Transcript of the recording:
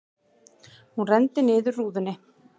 Hún renndi niður rúðunni.